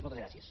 moltes gràcies